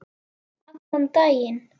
Allan daginn.